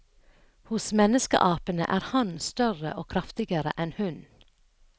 Hos menneskeapene er hannen større og kraftigere enn hunnen.